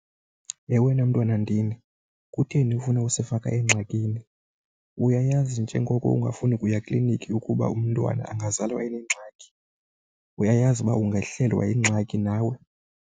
Yhe, wena mntwana ndini! Kutheni ufuna usifaka engxakini? Uyayazi njengoko ungafuni kuya ekliniki ukuba umntwana angazalwa enengxaki? Uyayazi uba ungehlelwa yingxaki nawe?